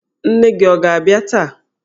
Nne nne gị ọ ga-abịa taa?